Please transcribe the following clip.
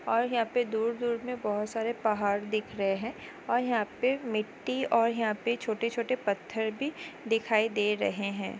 और यहाँ पे दूर-दूर में बहुत सारे पहाड़ दिख रहे हैं और यहाँ पे मिट्टी और यहाँ पे छोटे-छोटे पत्थर भी दिखाई दे रहे हैं।